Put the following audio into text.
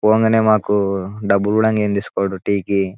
ఊరంగనే డబ్బు కూడా ఏమీ తీసుకోడు టీ కి.